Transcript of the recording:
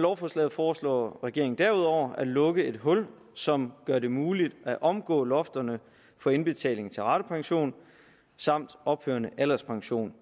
lovforslaget foreslår regeringen derudover at lukke et hul som gør det muligt at omgå lofterne for indbetaling til ratepension samt ophørende alderspension